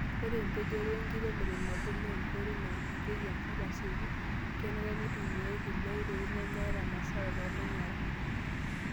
Ore empejore wenkiremore naagut naankoitoi naitukutieki enkop aasiok, kenare netumiay kulie oitoi nemeeta masara tormanyara.